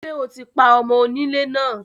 Ṣé o ti pa ọmo onílé náà?